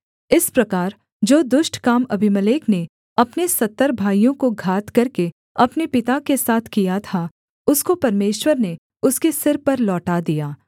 इस प्रकार जो दुष्ट काम अबीमेलेक ने अपने सत्तर भाइयों को घात करके अपने पिता के साथ किया था उसको परमेश्वर ने उसके सिर पर लौटा दिया